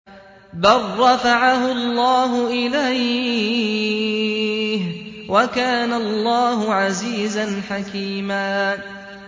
بَل رَّفَعَهُ اللَّهُ إِلَيْهِ ۚ وَكَانَ اللَّهُ عَزِيزًا حَكِيمًا